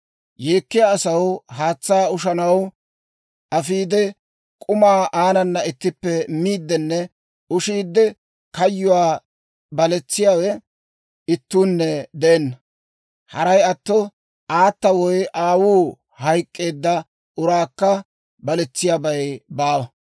Yeekkiyaa asaw haatsaa ushshaw afiide, k'umaa aanana ittippe miiddinne ushiide, kayyuwaa baletsiyaawe ittuunne de'enna. Haray atto aata woy aawuu hayk'k'eedda uraakka baletsiyaabay baawa.